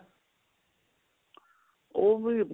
ਉਹ ਵੀ